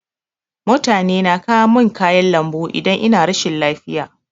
Mutane na kawo min kayan lambu idan ina rashin lafiya.